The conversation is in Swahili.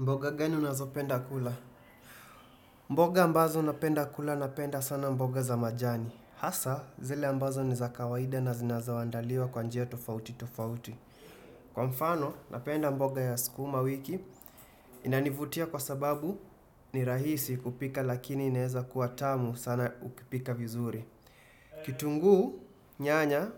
Mboga gani unazo penda kula? Mboga ambazo napenda kula napenda sana mboga za majani. Hasa zile ambazo ni za kawaida na zinaweza andaliwa kwa njia tofauti tofauti. Kwa mfano napenda mboga ya sukumawiki inanivutia kwa sababu ni rahisi kupika lakini inaweza kuwa tamu sana ukipika vizuri. Kitungu nyanya